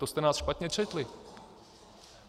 To jste nás špatně četli.